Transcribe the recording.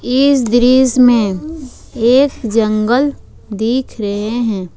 इस दृश्य में एक जंगल दिख रहे हैं।